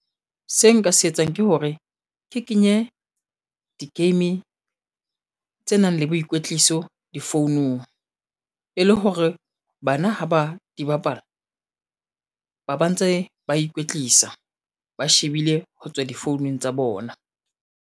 Se nka se etsang ke hore ke kenye di-game tse nang le boikwetliso difounung e le hore bana ha ba di bapala, ba ba ntse ba ikwetlisa ba shebile ho tswa difounung tsa bona.